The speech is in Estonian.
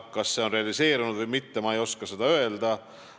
Kas see on realiseerunud või mitte, ma ei oska öelda.